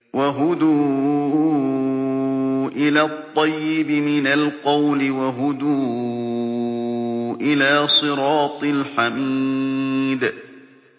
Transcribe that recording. وَهُدُوا إِلَى الطَّيِّبِ مِنَ الْقَوْلِ وَهُدُوا إِلَىٰ صِرَاطِ الْحَمِيدِ